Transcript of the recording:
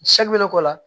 bɛ ne k'o la